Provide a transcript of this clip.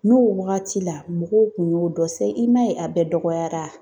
N'o wagati la mɔgɔw kun y'o dɔ sisan, i m'a ye a bɛɛ dɔgɔyara.